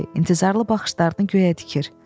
Kədərli, intizaralı baxışlarını göyə tikir.